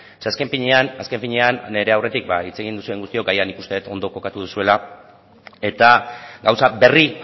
zeren azken finean nire aurretik hitz egin duzuen guztiok agian nik uste dut ondo kokatu duzuela eta gauza berri